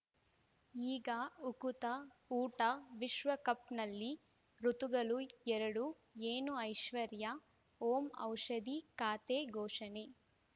ಈಗ ಉಕುತ ಊಟ ವಿಶ್ವಕಪ್‌ನಲ್ಲಿ ಋತುಗಳು ಎರಡು ಏನು ಐಶ್ವರ್ಯಾ ಓಂ ಔಷಧಿ ಖಾತೆ ಘೋಷಣೆ